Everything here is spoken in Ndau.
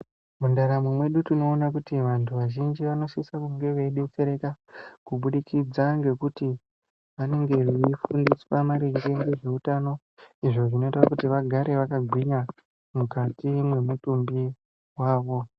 Mundaramo mwedu tinoona kuti vantu vazhinji vanosisa kunge veidetsereka kubudikidza ngekuti vanenge veifundiswa maringe ngezveutano izvo zvinoita kui vagare vakagwinya mukati mwemutumbi wavo.